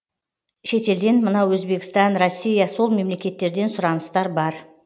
шетелден мынау өзбекстан россия сол мемлекеттерден сұраныстар бар